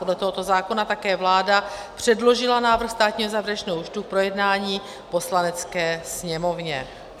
Podle tohoto zákona také vláda předložila návrh státního závěrečného účtu k projednání Poslanecké sněmovně -